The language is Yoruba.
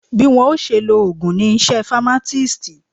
Bí wọ́n ó ṣe lo ògùn ni iṣẹ́ famatisti